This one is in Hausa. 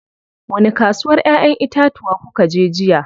Wani kasuwar ƴayen itatuwa kukaje jiya?